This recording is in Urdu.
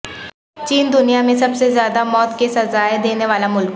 چین دنیا میں سب سے زیادہ موت کی سزائیں دینے والا ملک